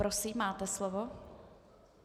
Prosím, máte slovo.